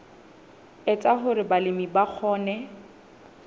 etsa hore balemi ba kgone